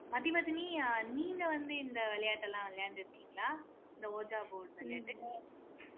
மதிவதனி நீங்க வந்து இந்த விளையாட்டெல்லாம் விளையாண்டு இருக்கீங்களா இந்த ohja board விளையாட்டு